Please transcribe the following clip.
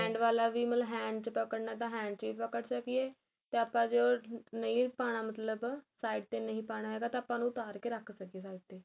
hand ਵਾਲਾ ਵੀ ਮਤਲਬ hand ਚ ਪਕੜਣਾ ਤਾਂ hand ਚ ਵੀ ਪਕੜ ਸਕੀਏ ਤੇ ਆਪਾਂ ਜੇ ਉਹ ਨਹੀਂ ਪਾਣਾ ਮਤਲਬ side ਤੇ ਨਹੀਂ ਪਾਣਾ ਹੈਗਾ ਤਾਂ ਆਪਾਂ ਉੜ ਨੂ ਉਤਾਰ ਕੇ ਰਖ ਸਕੀਏ side ਤੇ